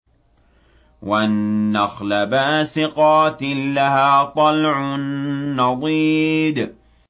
وَالنَّخْلَ بَاسِقَاتٍ لَّهَا طَلْعٌ نَّضِيدٌ